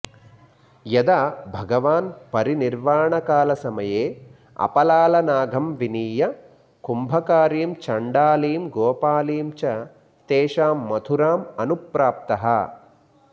यदा भगवान् परिनिर्वाणकालसमये अपलालनागं विनीय कुम्भकारीं चण्डालीं गोपालीं च तेषां मथुरां अनुप्राप्तः